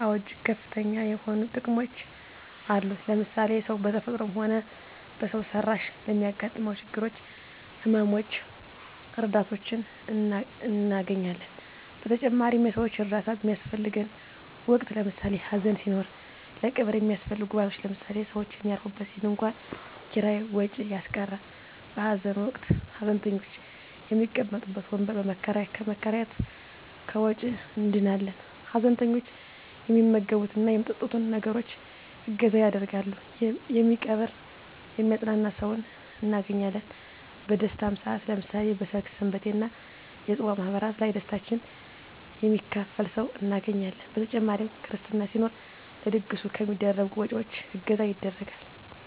አወ እጅግ ከፍተኛ የሆኑ ጥቅሞች አሉት ለምሳሌ ሰው በተፈጥሮም ሆነ በሰው ሰራሽ ለሚያገጥመው ችግሮች ህመመ ሞች ረዳቶችን እናገኛለን በተጨማሪም የሰወች እርዳታ በሚያሰፈልገን ወቅት ለምሳሌ ሀዘን ሲኖር ለቀብር የሚያሰፈልጉ ግብአቶች ለምሳሌ ሰውች የሚያርፉበት የድንኮን ኪራይ ወጭ ያስቀራል በሀዘን ወቅት ሀዘንተኞች የሚቀመጡበት ወንበር ከመከራየት ከወጭ እንድናለን ሀዘንተኞች የሚመገብት እና የሚጠጡትን ነገሮች እገዛ ያደርጋሉ የሚቀብር የሚያጵናና ሰውን እናገኛለን በደስታም ሰአት ለምሳሌ በሰርግ ሰንበቴ እና የፅዋ ማህበራት ላይ ደስታችን የሚካፈል ሰው እናገኛለን በተጨማሪ ክርስትና ሲኖር ለድግሱ ከሚደረጉ ወጭወች እገዛ ይደረጋል።